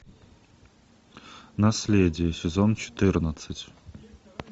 наследие сезон четырнадцать